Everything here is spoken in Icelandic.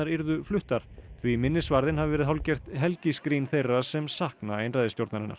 yrðu fluttar því minnisvarðinn hafi verið hálfgert þeirra sem sakna einræðisstjórnarinnar